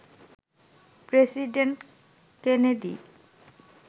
president Kennedy